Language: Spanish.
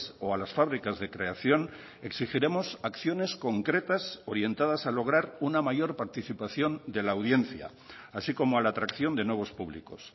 o a las fábricas de creación exigiremos acciones concretas orientadas a lograr una mayor participación de la audiencia así como a la atracción de nuevos públicos